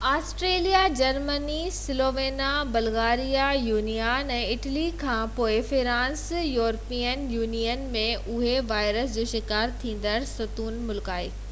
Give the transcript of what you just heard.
Austria Germany Slovenia Bulgaria يونان ۽ Italy کان پوءِ فرانس يورپين يونين ۾ انهي وائرس جو شڪار ٿيندڙ ستون ملڪ آهي